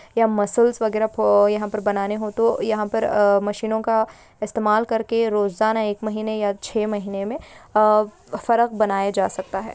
यहाँ मसल्स वेगेरा पह यहाँ पर बनाने हो तो यहाँ पर अह मशीनों का इस्तेमाल करके रोजाना एक महीने या छे महीने में अह फरक बनाए जा सकता है।